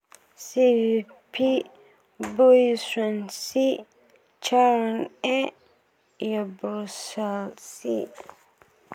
Sve P, Bui Xuan C, Charhon A, iyo Broussolle C.